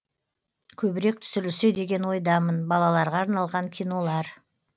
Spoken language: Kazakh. көбірек түсірілсе деген ойдамын балаларға арналған кинолар